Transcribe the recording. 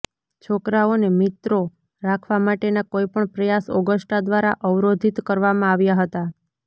છોકરાઓને મિત્રો રાખવા માટેના કોઈપણ પ્રયાસ ઑગસ્ટા દ્વારા અવરોધિત કરવામાં આવ્યા હતા